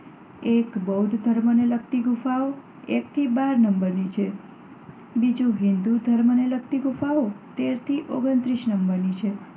એક બૌદ્ધ ધર્મને લગતી ગુફાઓ એક થી બાર નંબરની છે. બીજી હિન્દુ ધર્મને લગતી ગુફાઓ તેર થી ઓગણત્રીસ નંબરની છે.